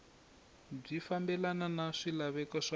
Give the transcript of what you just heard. byi fambelana na swilaveko swa